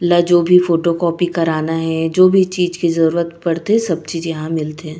ला जो भी फोटो कॉपी करना हे जो भी चीज की जरूरत पड़थे सब चीज यहाँ मिलथे।